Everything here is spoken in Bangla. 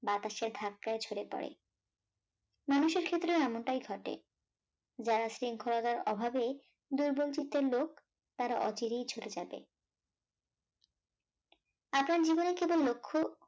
বাতাসের ধাক্কায় ঝরে পরে মানুষের ক্ষেত্রেও এমনটাই ঘটে যারা শৃঙ্খলতার অভাবে দুর্বল চিত্তের লোক, তারা অধীরেই ঝরে যাবে আপনার জীবনের কেবল লক্ষ্য